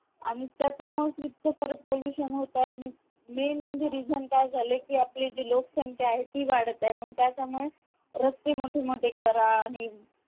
आणि त्याच्य मुळे इतक सार pollution होत आहे आणि मेन म्हणजे reason काय झाले कि आपली जी लोकसंक्या ती वाढत आहे मग त्याच्या मुळे रस्ते मोठे मोठे करा आणि